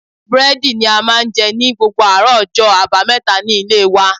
Búrédì ni a máa n je ni gbogbo àárò ojó àbáméta ní Ilé wa